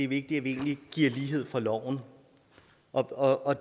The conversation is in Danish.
vigtigt at vi giver lighed for loven og og